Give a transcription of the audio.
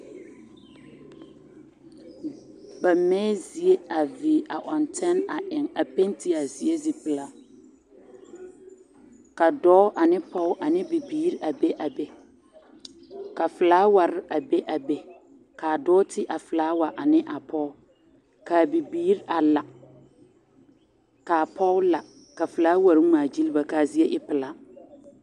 Ba mɛɛ zie a viire a ɔŋ tɛn a eŋ a penti a zie zie pilaa ka dɔɔ ane pɔge ane bibiiri a be a be ka filaaware a be a be kaa dɔɔ ti a filaawa ane a pɔge kaa bibiiri a la kaa pɔge la ka filaawar ŋmaa gyil ba kaa zie e pilaa.